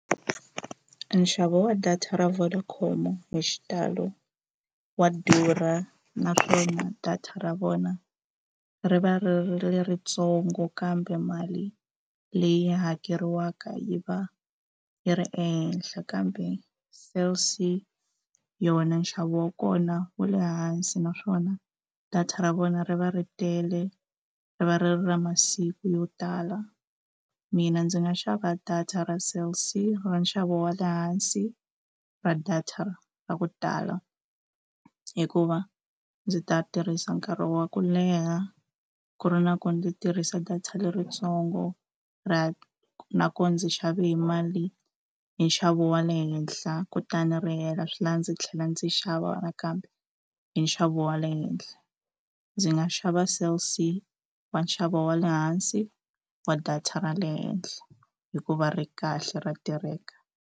Nxavo wa data ra Vodacom hi xitalo wa durha naswona data ra vona ri va ri ri ritsongo kambe mali leyi hakeriwaka yi va yi ri ehenhla kambe Cell C yona nxavo wa kona wu le hansi naswona data ra vona ri va ri tele ri va ri ri ra masiku yo tala mina ndzi nga xava data ra Cell C ra nxavo wa le hansi ra data ra ra ku tala hikuva ndzi ta tirhisa nkarhi wa ku leha ku ri na ku ndzi tirhisa data leritsongo nakona ndzi xave hi mali i nxavo wa le henhla kutani ri hela swi lava ndzi tlhela ndzi xava nakambe i nxavo wa le henhla ndzi nga xava Cell C wa nxavo wa le hansi wa data ra le henhla hikuva ri kahle ra tirheka.